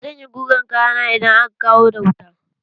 Zan yi gugan kayana idan aka dawo da wuta.